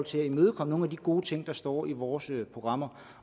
til at imødekomme nogle af de gode ting der står i vores programmer